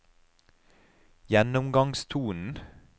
gjennomgangstonen